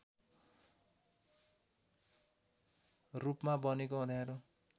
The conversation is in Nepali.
रूपमा बनेको अँध्यारो